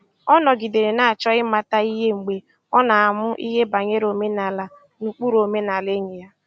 Ọ nọgidere na-achọ ịmata ihe mgbe ọ na-amụ ihe banyere omenala na ụkpụrụ omenala enyi ya